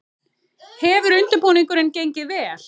Hefur undirbúningurinn gengið vel?